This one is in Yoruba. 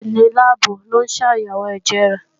Òṣìṣẹ́ inú láàbù ń ṣàyẹ̀wò ẹ̀jẹ̀ rẹ̀